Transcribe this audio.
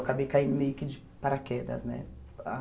Acabei caindo meio que de paraquedas, né? Ah